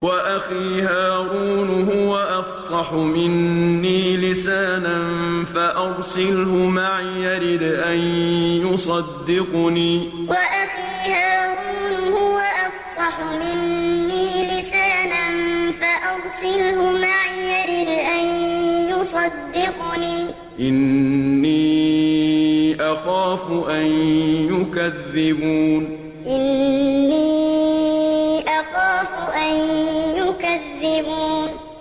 وَأَخِي هَارُونُ هُوَ أَفْصَحُ مِنِّي لِسَانًا فَأَرْسِلْهُ مَعِيَ رِدْءًا يُصَدِّقُنِي ۖ إِنِّي أَخَافُ أَن يُكَذِّبُونِ وَأَخِي هَارُونُ هُوَ أَفْصَحُ مِنِّي لِسَانًا فَأَرْسِلْهُ مَعِيَ رِدْءًا يُصَدِّقُنِي ۖ إِنِّي أَخَافُ أَن يُكَذِّبُونِ